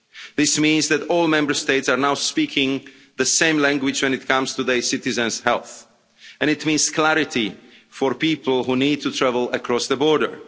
This means that all Member States are now speaking the same language when it comes to their citizens' health and it means clarity for people who need to travel across the border.